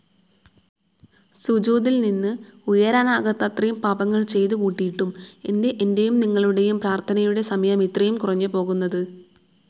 സുജൂദില് നിന്ന് ഉയരാനാകാത്തത്രയും പാപങ്ങള് ചെയ്തുകൂട്ടിയിട്ടും എന്തേ എന്റെയും നിങ്ങളുടേയും പ്രാര്ഥനയുടെ സമയമിത്രയും കുറഞ്ഞുപോകുന്നത്..?.